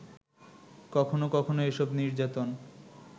কখনো কখনো এসব নির্যাতন